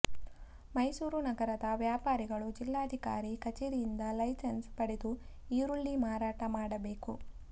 ಮೈಸೂರು ನಗರದ ವ್ಯಾಪಾರಿಗಳು ಜಿಲ್ಲಾಧಿಕಾರಿ ಕಚೇರಿಯಿಂದ ಲೈಸೆನ್ಸ್ ಪಡೆದು ಈರುಳ್ಳಿ ಮಾರಾಟ ಮಾಡಬೇಕು